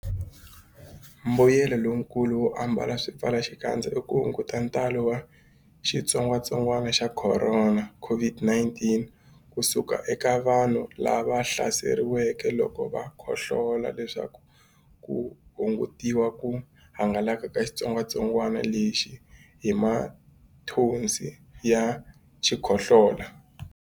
Mbuyelonkulu wo ambala swipfalaxikandza i ku hunguta ntalo wa xitsongwantsongwana xa Khorona, COVID-19, ku suka eka vanhu lava hlaseriweke loko va khohlola leswaku ku hungutiwa ku hangalaka ka xitsongwantsongwana lexi hi mathonsi ya xikhohlola.